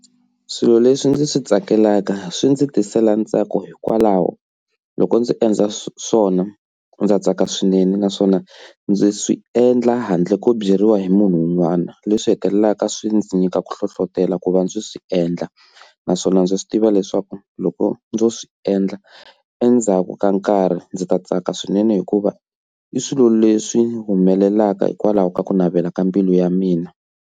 Swilo leswi ndzi swi tsakelaka swi ndzi tisela ntsako hikwalaho loko ndzi endla swona ndza tsaka swinene naswona ndzi swi endla handle ko byeriwa hi munhu un'wana leswi hetelelaka swi ndzi nyika ku hlohlotela ku va ndzi swi endla, naswona ndzi swi tiva leswaku loko ndzo swi endla endzhaku ka nkarhi ndzi ta tsaka swinene hikuva i swilo leswi humelelaka hikwalaho ka ku navela ka mbilu ya mina.